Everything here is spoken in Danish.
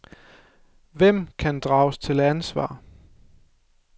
Hvem kan drages til ansvar?